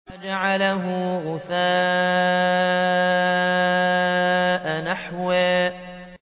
فَجَعَلَهُ غُثَاءً أَحْوَىٰ